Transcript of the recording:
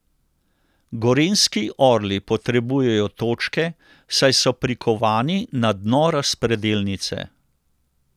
Gorenjski orli potrebujejo točke, saj so prikovani na dno razpredelnice.